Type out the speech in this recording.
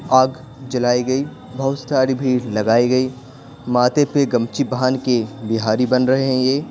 आग जलाई गई बहुत सारी भी लगाई गई माते पे गमछी बान के बिहारी बन रहे हैं ये--